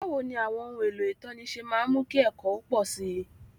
Báwo ni àwọn ohun èlò ìtọ́ni ṣe máa ń mú kí ẹ̀kọ́ ó pọ̀ sí i?